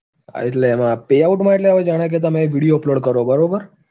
એટલે એમાં payout માં એટલે જાણે કે તમે video upload કરો બરોબર